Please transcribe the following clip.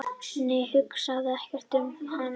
"""nei, hugsa ekki um hann!"""